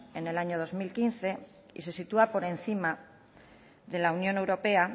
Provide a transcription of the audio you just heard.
en el año dos mil quince y se sitúa por encima de la unión europea